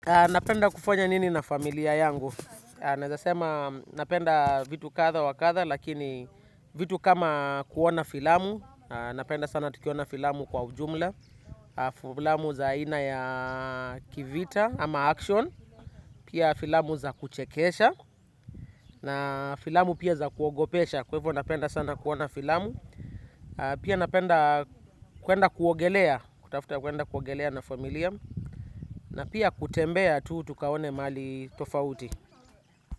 Napenda kufanya nini na familia yangu? Naezasema napenda vitu kadha wa kadha, lakini vitu kama kuona filamu. Napenda sana tukiona filamu kwa ujumla. Filamu za ina ya kivita ama action. Pia filamu za kuchekesha. Na filamu pia za kuogopesha. Kwa hivyo napenda sana kuona filamu. Pia napenda kwenda kuogelea. Kutafuta kuwenda kuogelea na familia. Na pia kutembea tu tukaone mahali tofauti.